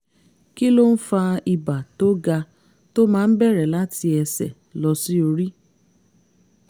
kí ló ń fa ibà tó ga tó máa ń bẹ̀rẹ̀ láti ẹsẹ̀ lọ sí orí?